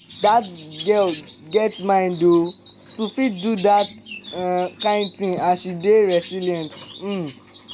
dat girl get mind oo to fit do dat um kin thing and she dey resilient um